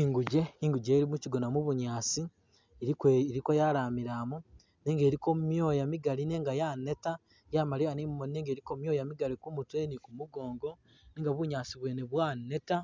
Inguje inguje ilo mukyigona mubu’nyaasi iliko yalamilamo nenga iliko myoya Kigali nenga yaneta yamaliya ni mumoni nenga iliko myoya migali kumutwe ni kumugongo nenga bunyaasi bwene bwaneta